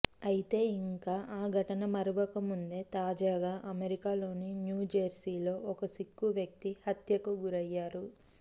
అయితే ఇంకా ఆ ఘటన మరువక ముందే తాజాగా అమెరికాలోని న్యూజెర్సీలో ఒక సిక్కు వ్యక్తి హత్యకు గురయ్యారు